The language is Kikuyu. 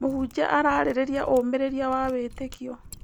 Mũhunjia ararĩrĩria ũmĩrĩria wa wĩtĩkio.